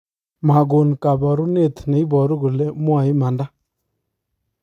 magon kaparuneet ne iparu kole mwae imanda